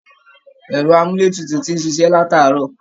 Ẹ̀rọ amúletutù ti n ṣíṣe lataarọ